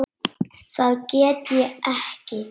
Það get ég ekki